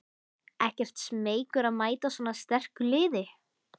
Ekkert smeykur að mæta svona sterku liði?